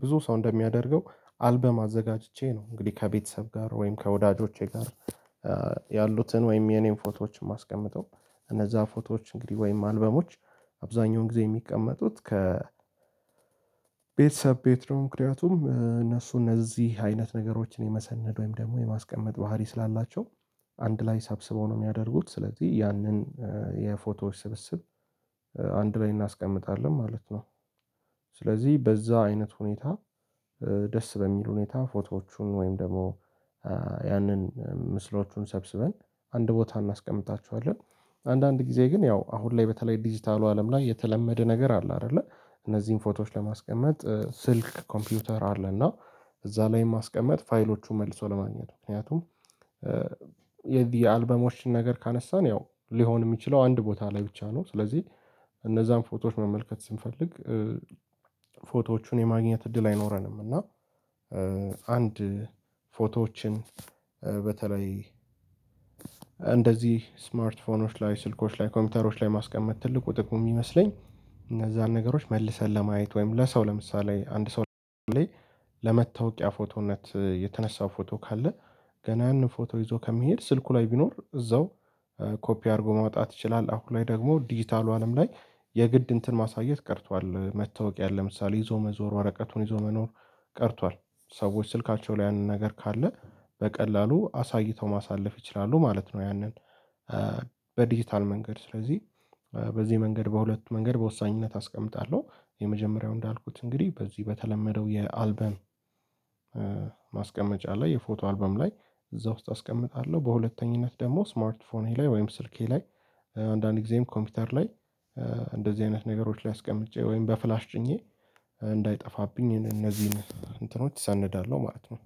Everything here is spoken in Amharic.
ብዙ ሰው እንደሚያደርገው አልበም አዘጋጅቼ ነው እንግዲህ ከቤተሰብ ጋር ወይም ከወዳጆቼ ጋር ያሉትን ወይም የኔን ፎቶዎችን ማስቀምጠው እነዛ ፎቶዎች እንግዲህ ወይም አልበሞች አብዛኛውን ጊዜ የሚቀመጡት። ቤተሰብ ቤት ነው ምክንያቱም እነሱ እነዚህ አይነት ነገሮችን የመሰነድ ወይም ደግሞ የማስቀመጥ ባህሪ ስላላቸው አንድ ላይ ሰብስበው ነው የሚያደርጉት ስለዚህ ያንን የፎቶዎች ስብስብ አንድ ላይ እናስቀምጣለን ማለት ነው። ስለዚህ በዛ አይነት ሁኔታ ደስ በሚል ሁኔታ ፎቶዎቹን ወይም ደግሞ ያንን ምስሎቹን ሰብስበን አንድ ቦታ እናስቀምጣቸዋለን። አንዳንድ ጊዜ ግን ያው አሁን ላይ በተለይ ዲጂታሉ አለም ላይ የተለመደ ነገር አለ አይደለ። እነዚህን ፎቶዎች ለማስቀመጥ ስልክ ኮምፒውተር አለ እና እዛ ላይ ማስቀመጥ ፋይሎቹን መልሶ ለማግኘቱ ምክንያቱም የአልበሞችን ነገር ካነሳን ያው ሊሆን የሚችለው አንድ ቦታ ላይ ብቻ ነው። ስለዚህ እነዛን ፎቶዎች መመልከት ስንፈልግ ፎቶዎቹን የማግኘት እድል አይኖረንም። እና አንድ ፎቶዎችን በተለይ እንደዚህ ስማርት ፎኖች ላይ ስልኮች ላይ ኮምፒውተሮች ላይ ማስቀመጥ ትልቁ ጥቁም የሚመስለኝ እነዛን ነገሮች መልሰን ለማየት ወይም ለሰው ለምሳሌ አንድ ሰው ላይ ለመታወቂያ ፎቶነት የተነሳው ፎቶ ካለ ገና ፎቶ ይዞ ከመሄድ ስልኩ ላይ ቢኖር እዛው ኮፒ አድርጎ ማውጣት ይችላል። አሁን ላይ ደግሞ ዲጂታሉ አለም ላይ የግድ እንትን ማሳየት ቀርቷል። መታወቂያ ለምሳሌ ይዞ መዞር ወረቀቱን ይዞ መኖር ቀርቷል። ሰዎች ስልካቸው ላይ ያንን ነገር ካለ በቀላሉ አሳይተው ማሳለፍ ይችላሉ ማለት ነው። ያንን በዲጂታል መንገድ ስለዚህ በዚህ መንገድ በሁለት መንገድ በወሳኝነት አስቀምጣለሁ የመጀመሪያው እንዳልኩት እንግዲህ በዚህ በተለመደው የአልበም ማስቀመጫ ላይ የፎቶ አልበም ላይ እዛ ውስጥ አስቀምጣለሁ። በሁለተኝነት ደግሞ ስማርት ፎንሄ ላይ ወይም ስልኬ ላይ አንዳንዴም ኮምፒውተር ላይ እንደዚህ አይነት ነገሮች ላይ አስቀምጬ ወይም በፍላሽ ጭኜ እንዳይጠፋብኝ እነዚህን እንትኖች እሰንዳለሁ ማለት ነው